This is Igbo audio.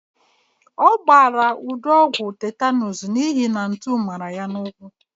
A gbara Udo ọgwụ tetanuus n'ihi na ntu mara ya n'ụkwụ.